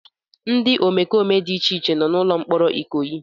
Ndị omekome dị iche iche nọ na ụlọ mkpọrọ Ikoyi.